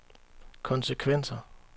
konsekvenser